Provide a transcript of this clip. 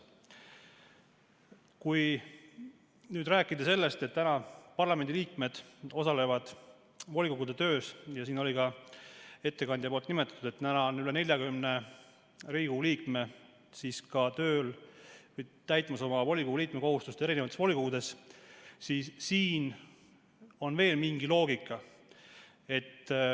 Kui rääkida sellest, et parlamendi liikmed osalevad volikogude töös, ja siin ettekandja ka nimetas, et täna on üle 40 Riigikogu liikme täitmas oma volikogu liikme kohustust volikogus, siis siin on veel mingi loogika.